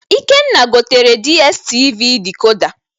Ikenna gotere dstv dikoda